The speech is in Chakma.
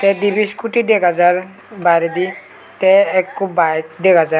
te dibi scooty dega jar baredi tee ekku bayek dega jar.